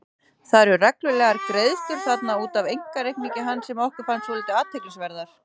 Það eru reglulegar greiðslur þarna út af einkareikningi hans sem okkur fannst svolítið athyglisverðar.